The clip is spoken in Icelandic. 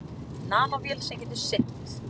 Nanóvél sem getur synt.